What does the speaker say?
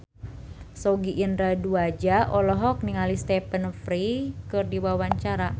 Sogi Indra Duaja olohok ningali Stephen Fry keur diwawancara